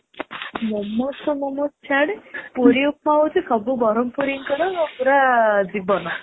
momos ତ momos ଛାଡେ, ପୁରୀ ଉପମା ହଉଛି ସବୁ ବରମପୁରୀ ଙ୍କର ପୁରା ଜୀବନ